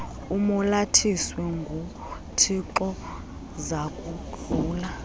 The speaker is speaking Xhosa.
umolathiswe nguthixo zakudlula